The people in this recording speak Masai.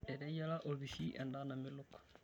Eteyiara olpishi endaa namelok.